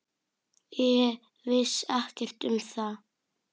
Ég vissi ekkert um það.